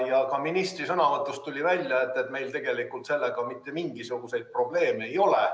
Ka ministri sõnavõtust tuli välja, et tegelikult meil sellega mitte mingisuguseid probleeme ei ole.